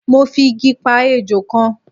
mo fi Igi pa ejò kan